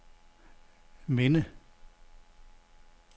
minde